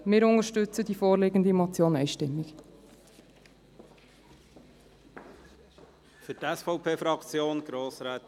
Wir unterstützen die vorliegende Motion einstimmig.